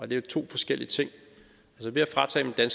det er to forskellige ting ved at fratage dem det